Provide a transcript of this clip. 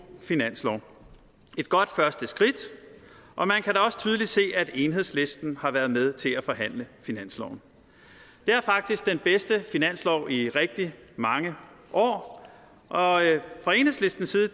finanslov et godt første skridt og man kan da også tydeligt se at enhedslisten har været med til at forhandle finansloven det er faktisk den bedste finanslov i rigtig mange år og fra enhedslistens side